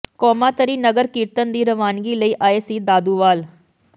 ਕੌਮਾਤਰੀ ਨਗਰ ਕੀਰਤਨ ਦੀ ਰਵਾਨਗੀ ਲਈ ਆਏ ਸੀ ਦਾਦੂਵਾਲ